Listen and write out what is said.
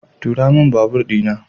Tura min babur di na.